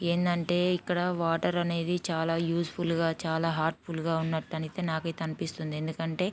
ఏంటంటే ఇక్కడ వాటర్ అనేది చాలా ఉస్ ఫుల్ గ చాలా హెర్ట్ఫుల్ గ ఉన్నట్టయితే నాకైతే అనిపిస్తుంది. ఎందుకంటే--